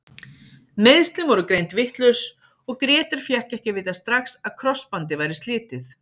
Meiðslin voru greind vitlaus og Grétar fékk ekki að vita strax að krossbandið væri slitið.